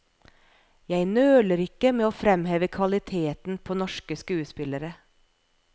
Jeg nøler ikke med å fremheve kvaliteten på norske skuespillere.